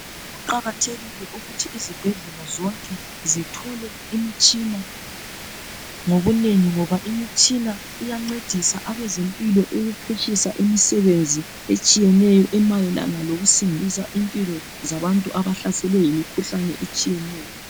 Kuqakathekile ukuthi izibhedlela zonke zithole imitshina ngobunengi ngoba imitshina iyancedisa abezempilo ukuphutshisa imisebenzi etshiyeneyo emayelana lokusindisa impilo zabantu abahlaselwe yimikhuhlane etshiyeneyo.